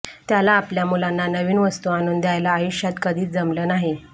त्याला आपल्या मुलांना नवीन वस्तू आणून द्यायला आयुष्यात कधीच जमलं नाही